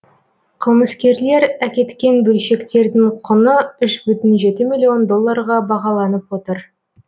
қылмыскерлер әкеткен бөлшектердің құны үш бүтін жеті миллион долларға бағаланып отыр